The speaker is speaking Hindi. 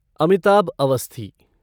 अमिताभ अवस्थी